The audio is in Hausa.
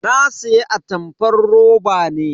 Na siya atamfar roba ne.